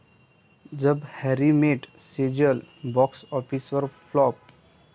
जब Harry met Sejal box ऑफिसवर flop